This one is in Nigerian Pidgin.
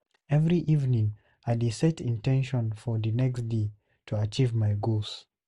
Every evening, I dey set in ten tions for the next day to achieve my goals.